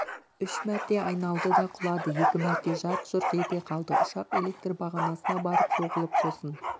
үш мәрте айналды да құлады екі мәрте жарқ-жұрқ ете қалды ұшақ элекр бағанасына барып соғылып сосын